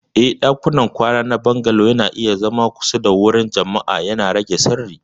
Eh, ɗakunan kwana na Bungalow na iya zama kusa da wuraren jama'a, yana rage sirri.